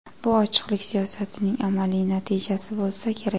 Bu ochiqlik siyosatining amaliy natijasi bo‘lsa kerak.